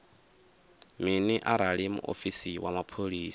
mini arali muofisi wa mapholisa